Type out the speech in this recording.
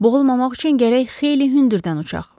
Boğulmamaq üçün gərək xeyli hündürdən uçaq.